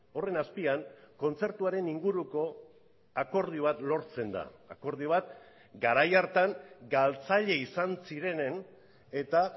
horren azpian kontzertuaren inguruko akordio bat lortzen da akordio bat garai hartan galtzaile izan zirenen eta